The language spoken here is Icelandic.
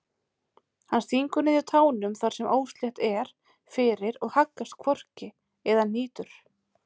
Hann stingur niður tánum þar sem óslétt er fyrir og haggast hvorki eða hnýtur.